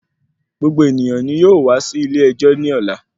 Gbogbo ènìyàn nì yóò wá sí ilè ẹjọ́ nì ọ̀la.